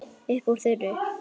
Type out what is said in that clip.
Upp úr þurru.